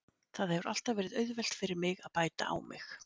Það hefur alltaf verið auðvelt fyrir mig að bæta á mig.